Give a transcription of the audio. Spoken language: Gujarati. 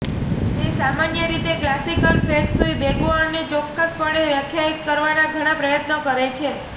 તે સામાન્ય રીતે ક્લાસિકલ ફેંગ શુઇ બેગુઆને ચોક્કસપણે વ્યાખ્યાયિત કરવાના ઘણા પ્રયત્નો કરે છે